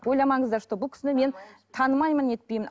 ойламаңыздар что бұл кісіне мен танымаймын не етпеймін